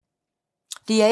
DR1